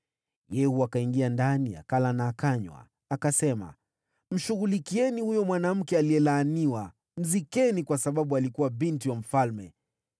Yehu akaingia ndani, akala na akanywa. Akasema, “Mshughulikieni huyo mwanamke aliyelaaniwa. Mzikeni, kwa sababu alikuwa binti wa mfalme.”